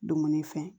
Dumuni fɛn